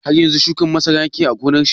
Har yanzu shukar masara yake yi a gonar shi?